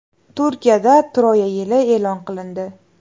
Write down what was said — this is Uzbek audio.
Turkiyada Troya yili e’lon qilindi.